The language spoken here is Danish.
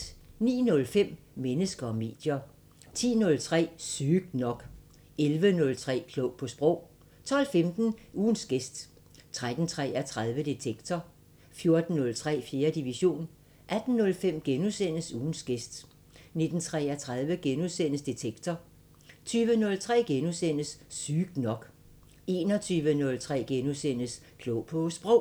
09:05: Mennesker og medier 10:03: Sygt nok 11:03: Klog på Sprog 12:15: Ugens gæst 13:33: Detektor 14:03: 4. division 18:05: Ugens gæst * 19:33: Detektor * 20:03: Sygt nok * 21:03: Klog på Sprog *